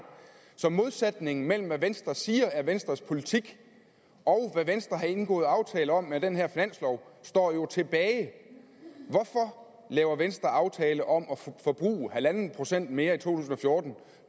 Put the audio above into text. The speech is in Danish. så modsætningen mellem hvad venstre siger er venstres politik og hvad venstre har indgået aftale om med den her finanslov står jo tilbage hvorfor laver venstre en aftale om at forbruge en procent mere i to tusind og fjorten